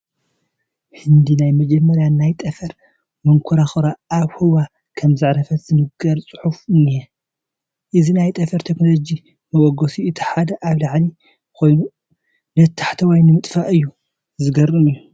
ህንዲ ናይ መጀመርያ ናይ ጠፈር መንኮራኹራ ኣብ ህዋ ከምዘዕረፈት ዝነግር ፅሑፍ እኒሀ፡፡ እዚ ናይ ጠፈር ቴክኖሎጂ መበገሲኡ እቲ ሓደ ኣብ ላዕሊ ኮይኑ ነቲ ታሕተዋይ ንምጥፋእ እዩ፡፡ ዘግርም እዩ፡፡